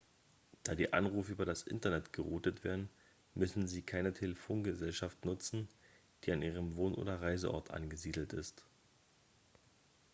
da die anrufe über das internet geroutet werden müssen sie keine telefongesellschaft nutzen die an ihrem wohn oder reiseort angesiedelt ist